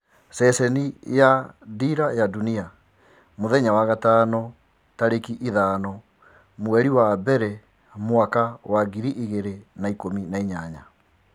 Ceceni ya Dira ya Dunia, Ijumaa tarĩkĩ ithano mweri wa mbere mwaka wa ngiri igĩrĩ na ikũmi na inyanya.